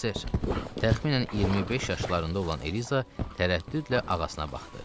Təxminən 25 yaşlarında olan Eliza tərəddüdlə ağasına baxdı.